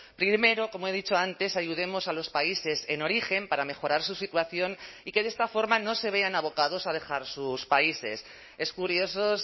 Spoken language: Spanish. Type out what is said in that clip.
primero como he dicho antes ayudemos a los países en origen para mejorar su situación y que de esta forma no se vean abocados a dejar sus países es curioso